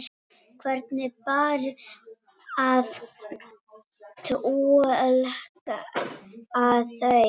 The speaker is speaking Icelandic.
Hvernig bar að túlka þau?